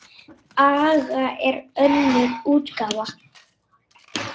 Agga er önnur útgáfa.